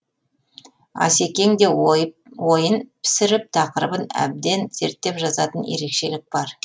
асекеңде ойын пісіріп тақырыбын әбден зерттеп жазатын ерекшелік бар